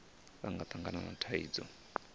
vha nga tangana na thaidzo